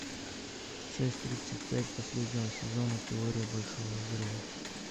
шесть тридцать пять последнего сезона теория большого взрыва